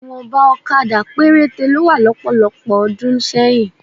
Ìwọ̀nba òkadà péréte ló wà lọ́pọ̀lọpọ̀ ọdún sẹ́yìn